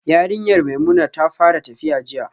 Yarinyar Maimuna ta fara tafiya jiya